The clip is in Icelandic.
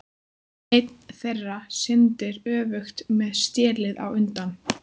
Einn þeirra syndir öfugt, með stélið á undan.